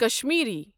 Kashmiri